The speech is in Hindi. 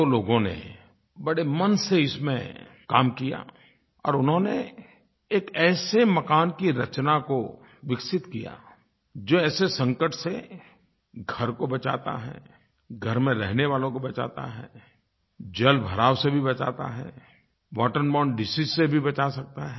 दो लोगों ने बड़े मन से इसमें काम किया और उन्होंने एक ऐसे मकान की रचना को विकसित किया जो ऐसे संकट से घर को बचाता है घर में रहने वालों को बचाता है जल भराव से भी बचाता है वाटर बोरने डिसीज से भी बचा सकता है